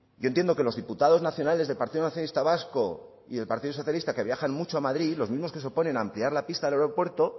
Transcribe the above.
yo entiendo que los diputados nacionales del partido nacionalista vasco y del partido socialista que viajan mucho a madrid los mismos que se oponen a ampliar la pista del aeropuerto